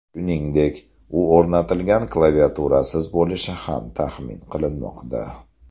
Shuningdek, u o‘rnatilgan klaviaturasiz bo‘lishi ham taxmin qilinmoqda.